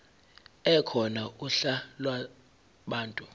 ekhona uhla lwabantu